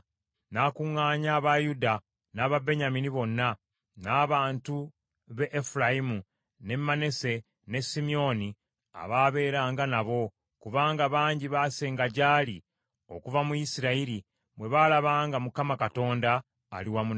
N’akuŋŋaanya aba Yuda n’aba Benyamini bonna, n’abantu b’e Efulayimu, n’e Manase, n’e Simyoni abaabeeranga nabo, kubanga bangi basenga gyali okuva mu Isirayiri bwe baalaba nga Mukama Katonda ali wamu naye.